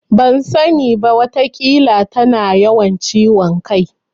Ban sani ba. Wataƙila tana yawan ciwon kai.